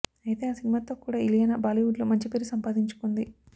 అయితే ఆ సినిమాతో కూడా ఇలియానా బాలీవుడ్లో మంచి పేరు సంపాదించుకుంది